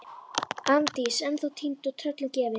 Arndís ennþá týnd og tröllum gefin.